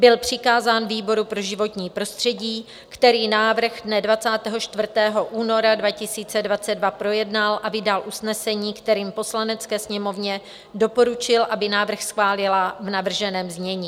Byl přikázán výboru pro životní prostředí, který návrh dne 24. února 2022 projednal a vydal usnesení, kterým Poslanecké sněmovně doporučil, aby návrh schválila v navrženém znění.